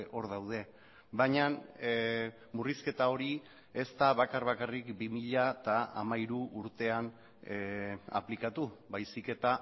hor daude baina murrizketa hori ez da bakar bakarrik bi mila hamairu urtean aplikatu baizik eta